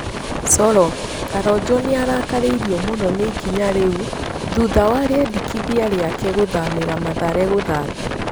(Coro) Karonjo nĩarakaririo mũno nĩ ikinya rĩu thutha wa rĩendekithia rĩake gũthamĩra Mathare gũthaata.